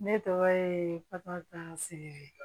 Ne tɔgɔ ye baka seke